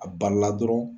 A balila dɔrɔn